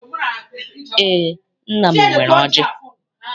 Eé, nna m nwere ọjị.